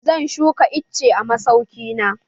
Zan shuka icce a masauki na.